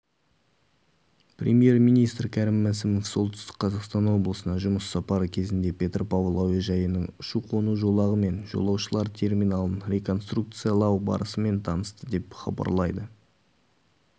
премьер-министрі кәрім мәсімов солтүстік қазақстан облысына жұмыс сапары кезінде петропавл әуежайының ұшу-қону жолағы мен жолаушылар терминалын реконструкциялау барысымен танысты деп хабарлайды